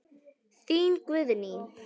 Þín, Guðný.